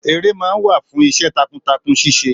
Èrè máa ń wà fún iṣẹ́ takuntakun ṣíse